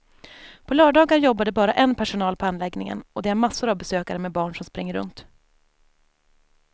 På lördagar jobbar det bara en personal på anläggningen och det är massor av besökare med barn som springer runt.